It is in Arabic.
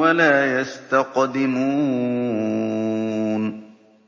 وَلَا يَسْتَقْدِمُونَ